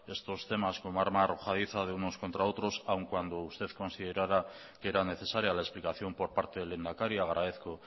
estos temas como arma arrojadiza de unos contra otros aun cuando usted considerara que era necesaria la explicación por parte del lehendakari agradezco